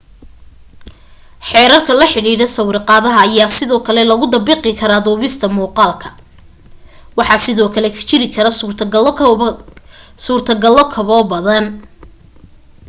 xeerarka la xidhiidha sawirqaadaha ayaa sidoo kale lagu dabaqi karaa duubita muuqaalka waxaa sidoo kale jiri kara suurto galo kaboo badan